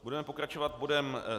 Budeme pokračovat bodem